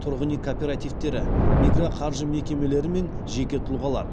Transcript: тұрғын үй кооперативтері микроқаржы мекемелері мен жеке тұлғалар